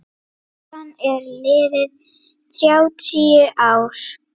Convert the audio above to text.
Síðan eru liðin þrjátíu ár.